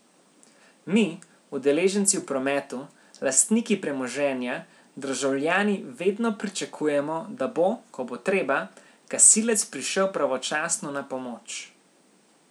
Mi, udeleženci v prometu, lastniki premoženja, državljani vedno pričakujemo, da bo, ko bo treba, gasilec prišel pravočasno na pomoč.